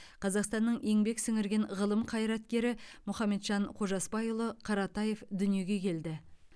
қазақстанның еңбек сіңірген ғылым қайраткері мұхамеджан қожасбайұлы қаратаев дүниеге келді